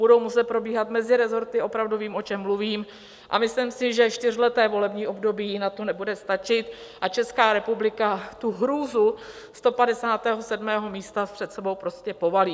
Budou muset probíhat meziresorty, opravdu vím, o čem mluvím, a myslím si, že čtyřleté volební období na to nebude stačit a Česká republika tu hrůzu 157. místa před sebou prostě povalí.